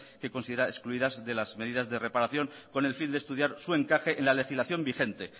que considera excluidas de las medidas de reparación con el fin de estudiar su encaje en la legislación vigente